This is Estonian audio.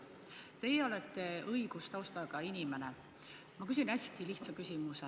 Teie olete õigustaustaga inimene, ma küsin hästi lihtsa küsimuse.